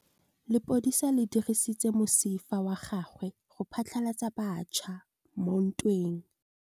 Lepodisa le dirisitse mosifa wa gagwe go phatlalatsa batšha mo ntweng.